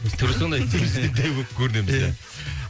түрі сондай дәу болып көрінеміз де ия